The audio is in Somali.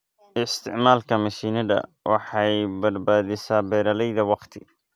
Isticmaalka mishiinada waxay badbaadisaa beeralayda wakhti.